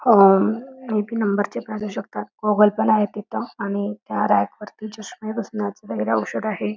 Number चे घालू शकतात गॉगल पण आहे तिथ आणि त्या रॅक वरती चश्मे पुसण्याच वगैरे औषध आहे.